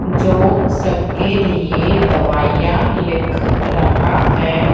जो सबके लिए दवाइयां लिख रहा है।